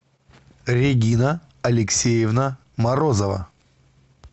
регина алексеевна морозова